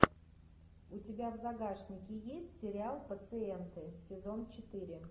у тебя в загашнике есть сериал пациенты сезон четыре